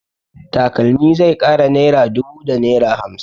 Takalmi zai kai naira dubu da naira hamsin.